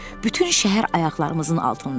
Bütün şəhər ayaqlarımızın altında idi.